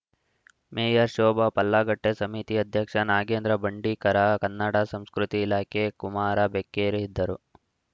mayor Shobha Pallagatte ಸಮಿತಿ ಅಧ್ಯಕ್ಷ ನಾಗೇಂದ್ರ ಬಂಡೀಕರ ಕನ್ನಡ ಸಂಸ್ಕೃತಿ ಇಲಾಖೆ ಕುಮಾರ ಬೆಕ್ಕೇರಿ ಇದ್ದರು